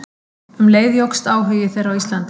Um leið jókst áhugi þeirra á Íslandi.